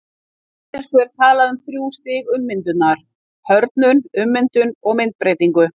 Á íslensku er talað um þrjú stig ummyndunar, hörðnun, ummyndun og myndbreytingu.